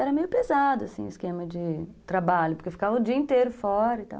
Era meio pesado, assim, o esquema de trabalho, porque eu ficava o dia inteiro fora e tal.